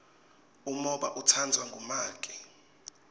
umhoba utsandvwa ngumake